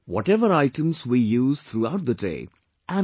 Whatever items we use throughout the day...